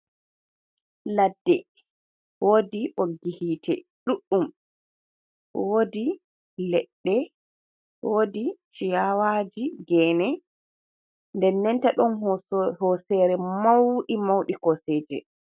Ladde woodi ɓoggi hiite ɗuɗɗum, woodi leɗɗe woodi chiyawaaji gene, den nenta ɗon hoseere mauɗi mauɗi koseje.